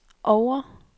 Oure